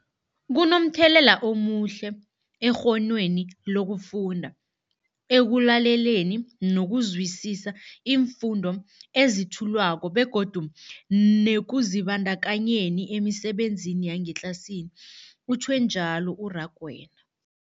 Kunomthelela omuhle ekghonweni lokufunda, ekulaleleni nokuzwisiswa iimfundo ezethulwako begodu nekuzibandakanyeni emisebenzini yangetlasini, utjhwe njalo u-Rakwena.